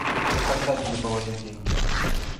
когда тебе положить деньги